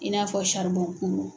I n'a fɔ kulu.